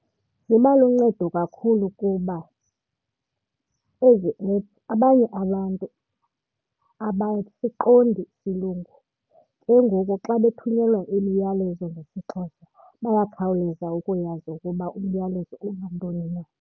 Ziba luncedo kakhulu kuba ezi app abanye abantu abasiqondi isilungu. Ke ngoku xa bethunyelwa imiyalezo ngesiXhosa bayakhawuleza ukuyazi ukuba umyalezo unantoni na.